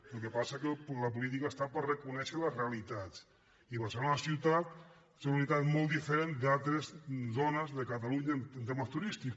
el que passa és que la política està per reconèixer les realitats i barcelona ciutat és una realitat molt diferent d’altres zones de catalunya en temes turístics